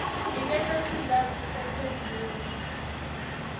niketa sizatfu semphendvulo